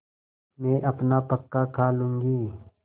मैं अपना पकाखा लूँगी